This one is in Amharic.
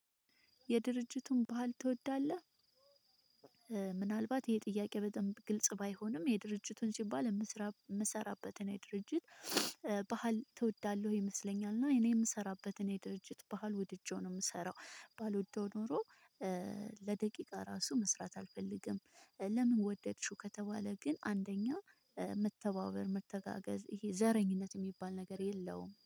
የድርጅቱን ባህል ትወዳለህ? ምናልባት ይሄ ጥያቄ በጣም ግልጽ ባይሆንም የድርጅቱን ሲባል የምሰራበትን የድርጅት ባህል ትወዳለህ ወይ ይመስለኛል እኔ የምሰራበትን ድርጅት ባህል ውድጄው ነው የምሰራው ባልወደው ኖሮ ለደቂቃ ራሱ መስራት አልፈልግም ለምን ወደድሽው ከተባለ ግን አንደኛ መተባበር መተጋገዝ ይሄ ዘረኝነት የሚባል ነገር የለውም።